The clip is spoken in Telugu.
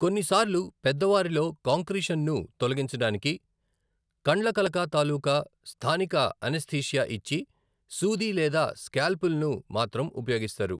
కొన్నిసార్లు పెద్దవారిలో కాంక్రీషన్ను తొలగించడానికి కండ్లకలక తాలూకా స్థానిక అనస్థీషియా ఇచ్చి, సూది లేదా స్కాల్పెల్ను మాత్రం ఉపయోగిస్తారు.